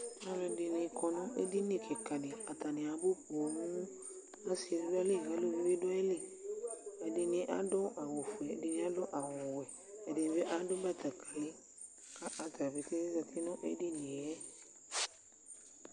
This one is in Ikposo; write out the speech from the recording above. Alʋɛdɩnɩ kɔ nʋ edini kɩka dɩ Atanɩ abʋ poo Asɩ bɩ dʋ ayili, aluvi bɩ dʋ ayili Ɛdɩnɩ adʋ awʋfue, ɛdɩnɩ adʋ awʋwɛ, ɛdɩnɩ bɩ adʋ batakalɩ kʋ ata dza keke azati nʋ edini yɛ